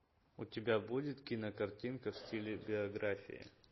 у тебя будет кинокартинка в стиле биография